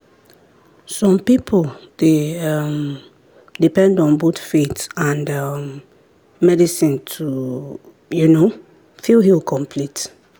some people dey um depend on both faith and um medicine to um feel healed complete.